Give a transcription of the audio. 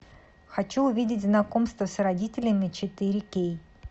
хочу увидеть знакомство с родителями четыре кей